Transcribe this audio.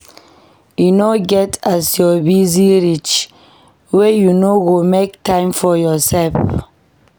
E no get as you busy reach wey you no go make time for yoursef.